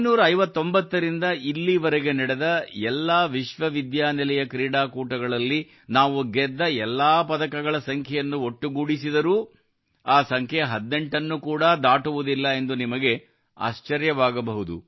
1959 ರಿಂದ ಇಲ್ಲಿವರೆಗೆ ನಡೆದ ಎಲ್ಲಾ ವಿಶ್ವ ವಿಶ್ವವಿದ್ಯಾನಿಲಯ ಕ್ರೀಡಾಕೂಟಗಳಲ್ಲಿ ನಾವು ಗೆದ್ದ ಎಲ್ಲಾ ಪದಕಗಳ ಸಂಖ್ಯೆಯನ್ನು ಒಟ್ಟುಗೂಡಿಸಿದರೂ ಆ ಸಂಖ್ಯೆ 18 ನ್ನು ಕೂಡ ದಾಟುವುದಿಲ್ಲ ಎಂದು ತಿಳಿದು ನಿಮಗೆ ಆಶ್ಚರ್ಯವಾಗಬಹುದು